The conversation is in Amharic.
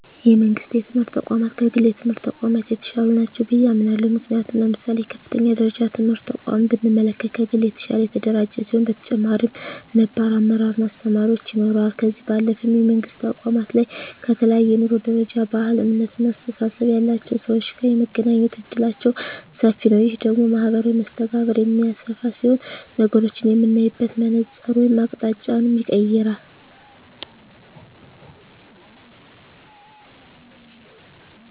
የመንግስት የትምህርት ተቋማት ከግል የትምህርት ተቋማት የተሻሉ ናቸው ብየ አምናለሁ። ምክንያቱም ለምሳሌ የከፍተኛ ደረጃ ትምህርት ተቋምን ብንመለከት ከግል የተሻለ የተደራጀ ሲሆን በተጨማሪም ነባር አመራር እና አስተማሪዎች ይኖረዋል። ከዚህ ባለፈም የመንግስት ተቋማት ላይ ከተለያየ የኑሮ ደረጃ፣ ባህል፣ እምነት እና አስተሳሰብ ያላቸው ሰወች ጋር የመገናኘት እድላችን ሰፊ ነዉ። ይህ ደግሞ ማህበራዊ መስተጋብርን የሚያሰፋ ሲሆን ነገሮችን የምናይበትን መነፀር ወይም አቅጣጫንም ይቀየራል።